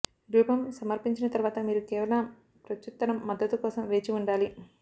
రూపం సమర్పించిన తర్వాత మీరు కేవలం ప్రత్యుత్తరం మద్దతు కోసం వేచి ఉండాలి